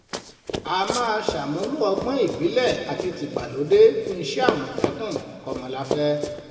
a máa ṣàmúlò ọgbọ́n ìbílẹ̀ àti tìgbàlódé fún iṣẹ́ àmọ̀tẹ́kùn kọmọláfẹ̀